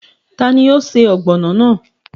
Tani o se ọ́gbọnọ́ náà?